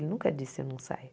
Ele nunca disse eu não saio.